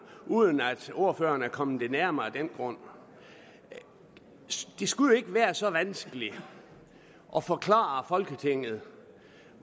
uden at ordføreren er kommet det nærmere af den grund det skulle jo ikke være så vanskeligt at forklare folketinget